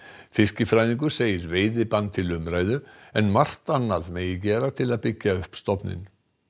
fiskifræðingur segir veiðibann til umræðu en margt annað megi gera til að byggja upp stofninn